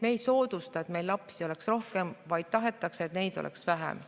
Me ei soodusta, et meil oleks lapsi rohkem, vaid tahame, et neid oleks vähem.